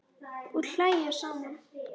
Og hlæja saman.